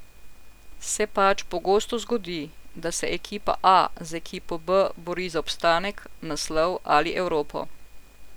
Se pač pogosto zgodi, da se ekipa A z ekipo B bori za obstanek, naslov ali Evropo.